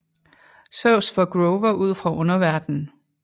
Zeus får Grover ud fra underverdenen